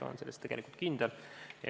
Olen selles tegelikult kindel.